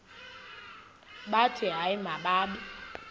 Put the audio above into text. bathi hayi mababe